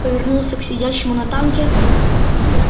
повернулся к сидящему на танке